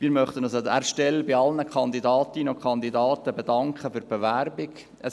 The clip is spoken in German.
Wir möchten uns an dieser Stelle bei allen Kandidatinnen und Kandidaten für die Bewerbungen bedanken.